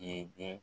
Ye